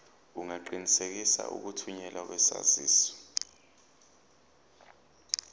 ungaqinisekisa ukuthunyelwa kwesaziso